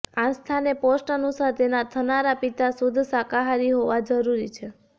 આસ્થાને post અનુસાર તેના થનારા પિતા શુદ્ધ શાકાહારી હોવા જરૂરી છે